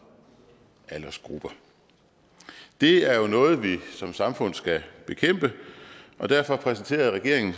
aldersgrupper det er jo noget vi som samfund skal bekæmpe og derfor præsenterede regeringen